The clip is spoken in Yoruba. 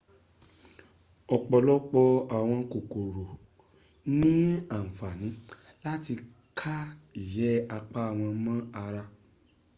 ọ̀pọ̀lọpọ̀ àwọn kòkòrò ní àǹfàní láti ká ìyẹ́ apá won mọ́ ara